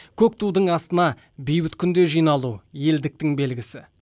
көк тудың астына бейбіт күнде жиналу елдіктің белгісі